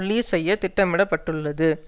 release செய்ய திட்டமிட பட்டுள்ளது